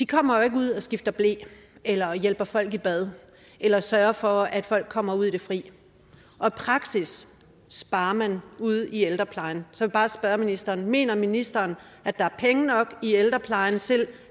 kommer jo ikke ud og skifter ble eller hjælper folk i bad eller sørger for at folk kommer ud i fri og i praksis sparer man ude i ældreplejen så bare spørge ministeren mener ministeren at der er penge nok i ældreplejen til